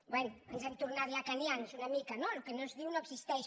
bé ens hem tornat lacanians una mica no el que no es diu no existeix